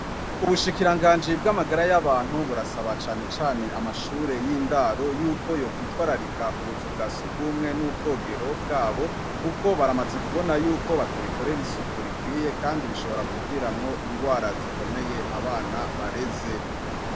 Ubushikiranganji bw' amagara y'abantu, burasaba cane cane amashure y' indaro, yuko yokwitwararika ubuzu bwa surwumwe n' ubwogero bwabo, kuko baramaze kubona yuko batabikorera isuku rikwiye, kandi bishobora kuviramwo ingwara zikomeye abana bareze.